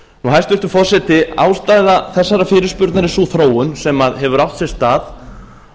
hæstvirtur forseti ástæða þessarar fyrirspurnar er sú þróun sem hefur átt sér stað